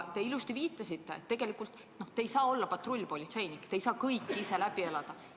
Te viitasite ilusasti, et te ei saa olla patrullpolitseinik, te ei saa kõike ise läbi elada.